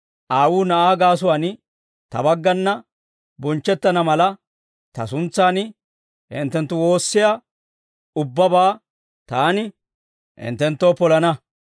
Aawuu Na'aa gaasuwaan, Ta baggana bonchchettana mala, Ta suntsan hinttenttu woossiyaa ubbabaa Taani hinttenttoo polana.